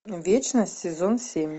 вечность сезон семь